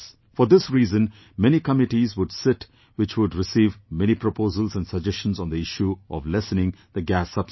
For this reason, many committees would sit which would receive many proposals and suggestions on the issue of lessening the gas subsidy